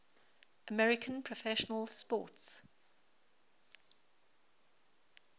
american professional sports